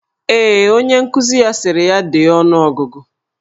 Ee, onye nkuzi ya sịrị ya dee ọnụogụgụ.